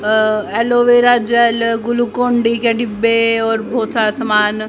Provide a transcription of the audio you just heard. aloe vera gel Glucon D के डिब्बे और बोहोत सारा सामान--